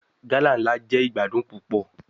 Gala nla jẹ igbadun pupọ